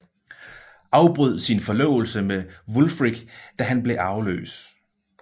Afbrød sin forlovelse med Wulfric da han blev arveløs